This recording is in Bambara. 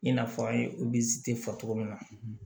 I n'a fɔ an ye fɔ cogo min na